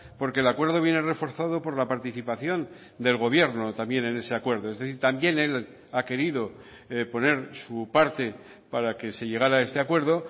porque el acuerdo viene reforzado por la participación del gobierno también en ese acuerdo es decir también él ha querido poner su parte para que se llegara a este acuerdo